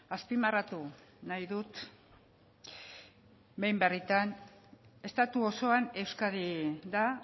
azpimarratu nahi dut estatu osoan euskadi da